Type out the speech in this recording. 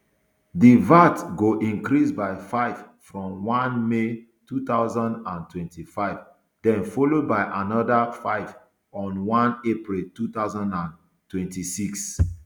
di vat go increase by five from one may two thousand and twenty-five den followed by anoda five on one april two thousand and twenty-six